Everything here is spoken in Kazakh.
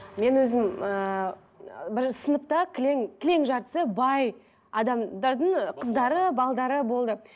мен өзім ыыы бірінші сыныпта кілең кілең жартысы бай адамдардың қыздары болды